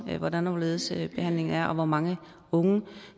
hvordan og hvorledes behandlingen er og hvor mange unge